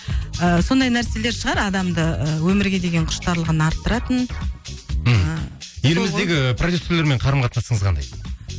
ыыы сондай нәрселер шығар адамды өмірге деген құштарлығын артыратын мхм еліміздегі продюссерлермен қарым қатынасыңыз қандай